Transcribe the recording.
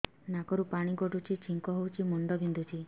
ନାକରୁ ପାଣି ଗଡୁଛି ଛିଙ୍କ ହଉଚି ମୁଣ୍ଡ ବିନ୍ଧୁଛି